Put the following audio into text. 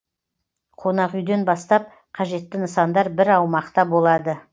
қонақүйден бастап қажетті нысандар бір аумақта болады